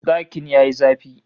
Dakin ya yi zafi